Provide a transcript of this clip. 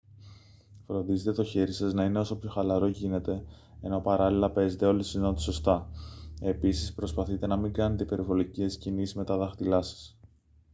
φροντίζετε το χέρι σας να είναι όσο πιο χαλαρό γίνεται ενώ παράλληλα παίζετε όλες τις νότες σωστά επίσης προσπαθείτε να μην κάνετε υπερβολικές κινήσεις με τα δάχτυλά σας